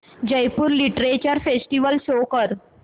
Jaipur literature festival show कर